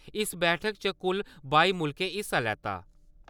इस बैठक च कुल बाई मुल्खें हिस्सा लैता।